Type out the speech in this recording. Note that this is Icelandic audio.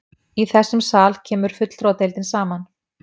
Í þessum sal kemur fulltrúadeildin saman.